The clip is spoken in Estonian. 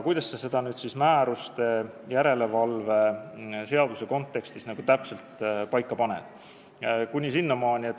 Kuidas sa seda siis määruste, järelevalve ja seaduse kontekstis täpselt paika paned?